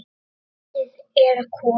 Haustið er komið.